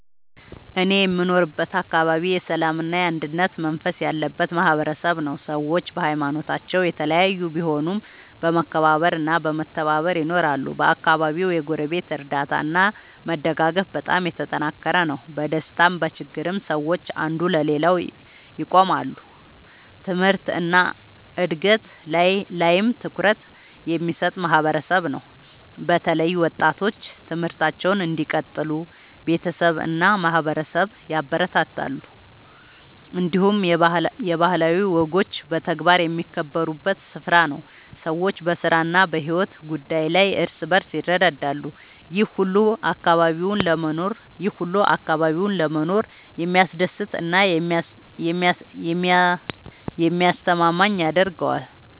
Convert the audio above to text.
እኔ የምኖርበት አካባቢ የሰላምና የአንድነት መንፈስ ያለበት ማህበረሰብ ነው። ሰዎች በሀይማኖታቸው የተለያዩ ቢሆኑም በመከባበር እና በመተባበር ይኖራሉ። በአካባቢው የጎረቤት እርዳታ እና መደጋገፍ በጣም የተጠናከረ ነው። በደስታም በችግርም ሰዎች አንዱ ለሌላው ይቆማሉ። ትምህርት እና እድገት ላይም ትኩረት የሚሰጥ ማህበረሰብ ነው። በተለይ ወጣቶች ትምህርታቸውን እንዲቀጥሉ ቤተሰብ እና ማህበረሰብ ያበረታታሉ። እንዲሁም የባህላዊ ወጎች በተግባር የሚከበሩበት ስፍራ ነው። ሰዎች በስራ እና በሕይወት ጉዳይ ላይ እርስ በርስ ይረዳዳሉ። ይህ ሁሉ አካባቢውን ለመኖር የሚያስደስት እና የሚያስተማማኝ ያደርገዋል።